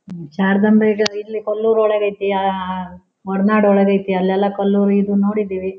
ಮ್ಮ್ ಶಾರದಾಂಬೆ ಈಗ ಇಲ್ಲಿ ಕೊಲ್ಲೂರ್ ಒಳಗ್ ಐತ್ತಿ ಆಹ್ಹ್ಹ್ಹ್ ಹೊರನಾಡು ಒಳಗ್ ಐತ್ತಿ ಅಲ್ಲೆಲ್ಲಾ ಕೊಲ್ಲುರ್ ಇದು ನೋಡಿದೀವಿ.